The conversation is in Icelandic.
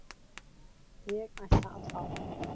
Ég ætla að fá.